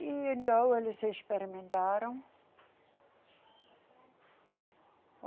E então eles experimentaram.